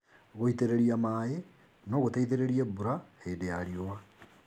Gũitĩrĩria maĩ no gũteithĩrĩrie mbura hĩndĩ ya riũa.